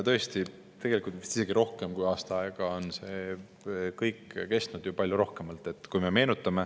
Tõesti, tegelikult vist isegi rohkem kui aasta aega on see kõik kestnud, palju rohkem.